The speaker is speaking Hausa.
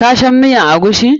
Ka san miyan eguisi?